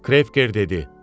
Krevker dedi: